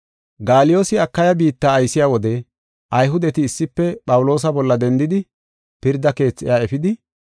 Gaaliyoosi Akaya biitta aysiya wode Ayhudeti issife Phawuloosa bolla dendidi pirda keethi iya efidi,